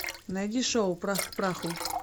найди шоу прах к праху